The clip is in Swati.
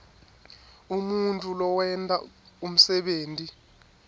umuntfu lowenta umsebenti